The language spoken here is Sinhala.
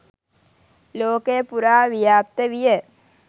ලෝකය පුරා ව්‍යාප්ත විය.